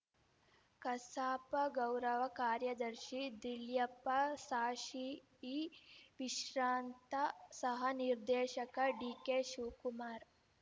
ಕಸಾಪ ಗೌರವ ಕಾರ್ಯದರ್ಶಿ ದಿಳ್ಯೆಪ್ಪ ಸಾಶಿ ಇ ವಿಶ್ರಾಂತ ಸಹ ನಿರ್ದೇಶಕ ಡಿಕೆಶಿವಕುಮಾರ